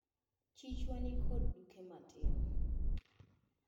Chichwa nikod duke matin.